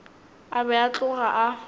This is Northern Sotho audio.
a be a tloga a